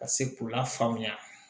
Ka se k'u lafaamuya